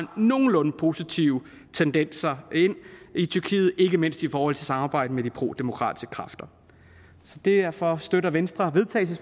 nogenlunde positive tendenser ind i tyrkiet ikke mindst i forhold til samarbejdet med de prodemokratiske kræfter så derfor støtter venstre